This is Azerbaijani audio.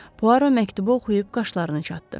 Puaro məktubu oxuyub qaşlarını çatıb.